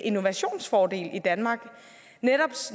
innovationsfordel i danmark